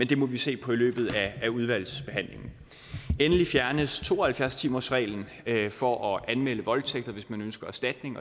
det må vi se på i løbet af udvalgsbehandlingen endelig fjernes to og halvfjerds timersreglen for at anmelde voldtægt og hvis man ønsker erstatning